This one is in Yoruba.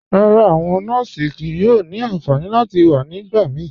Rárá, awọn nọọsì kíí yóò ni ànfànì láti wà nígbàmíí.